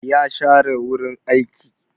Ya share wurin aiki.